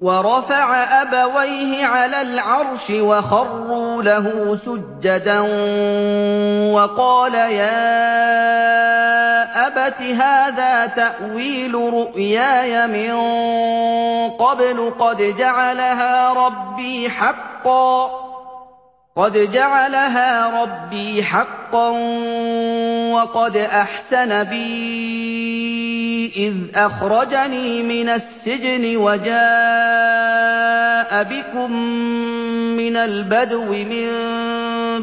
وَرَفَعَ أَبَوَيْهِ عَلَى الْعَرْشِ وَخَرُّوا لَهُ سُجَّدًا ۖ وَقَالَ يَا أَبَتِ هَٰذَا تَأْوِيلُ رُؤْيَايَ مِن قَبْلُ قَدْ جَعَلَهَا رَبِّي حَقًّا ۖ وَقَدْ أَحْسَنَ بِي إِذْ أَخْرَجَنِي مِنَ السِّجْنِ وَجَاءَ بِكُم مِّنَ الْبَدْوِ مِن